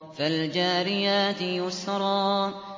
فَالْجَارِيَاتِ يُسْرًا